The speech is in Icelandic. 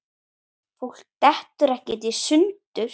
Fólk dettur ekkert í sundur.